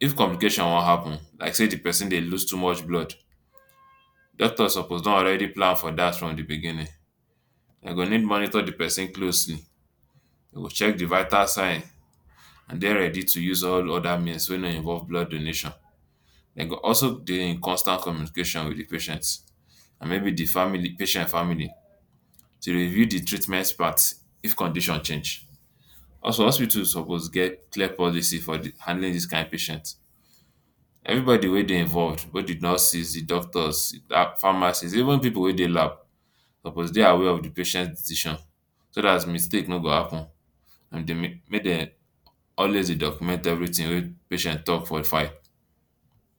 if complications wan happen, like say di pesin dey loose blood doctor suppose don already plan for dat from di beginning. Dem go need monitor di pesin closely, dem go check di vital sign and den ready to use all oda means wey no involve blood donation. Dem go also dey in constant communication wit di patient and maybe di family patient family to review di treatment part if condition change, also hospitals suppose get clear policy for handling dis kain patient. Everybody wey dey involved di nurses, di doctors, pharmacists, even pipu wey dey lab suppose dey aware of di patient decision so dat mistake no go happen make dem always dey document everything wey patient talk for file.